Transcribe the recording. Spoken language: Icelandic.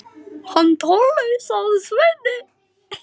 Hann Tolli, sagði Svenni.